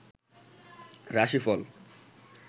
রাশিফল